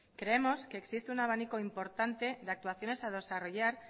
creemos que existe un abanico importante de actuaciones a desarrollar